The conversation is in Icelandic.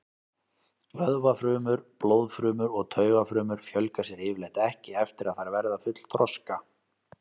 Vöðvafrumur, blóðfrumur og taugafrumur fjölga sér yfirleitt ekki eftir að þær verða fullþroska.